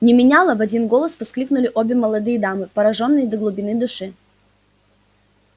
не меняла в один голос воскликнули обе молодые дамы поражённые до глубины души